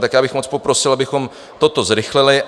Tak já bych moc poprosil, abychom toto zrychlili.